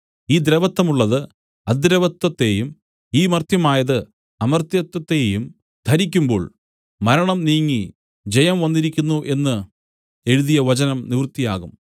ഈ ദ്രവത്വമുള്ളത് അദ്രവത്വത്തെയും ഈ മർത്യമായത് അമർത്യത്വത്തെയും ധരിക്കുമ്പോൾ മരണം നീങ്ങി ജയം വന്നിരിക്കുന്നു എന്ന് എഴുതിയ വചനം നിവൃത്തിയാകും